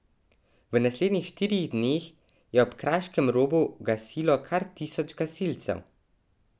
V naslednjih štirih dneh je ob Kraškem robu gasilo kar tisoč gasilcev!